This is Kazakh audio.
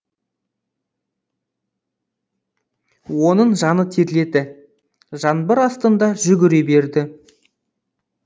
оның жаны терледі жаңбыр астында жүгіре берді